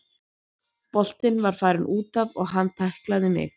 Boltinn var farinn útaf og hann tæklaði mig.